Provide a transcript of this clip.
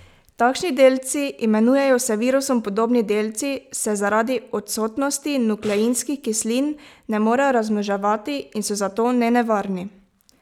Takšni delci, imenujejo se virusom podobni delci, se zaradi odsotnosti nukleinskih kislin ne morejo razmnoževati in so zato nenevarni.